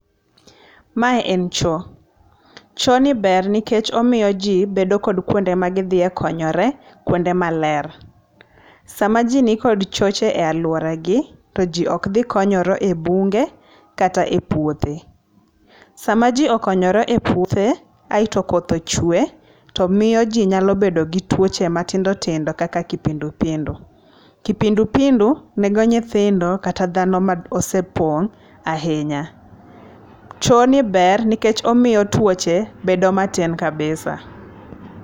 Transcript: Mae en choo. Chooni ber nikech omiyo ji bedo kod kuonde ma gidhie konyore, kuonde maler. Sama ji ni kod choche e alwora gi, to ji okdhi konyore e bunge, kata e puothe. Sama ji okonyore e puothe, aeto koth ochwe, to miyo ji nyalo bedo gi twoche matindo tindo kaka kipindupindu. Kipindupindu nego nyithindo kata dhano ma osepong ahinya. Choo ni ber nikech omiyo twoche bedo matin kabisa.